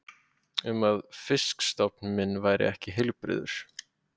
um að fisk- stofn minn væri ekki heilbrigður.